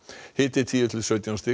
hiti tíu til sautján stig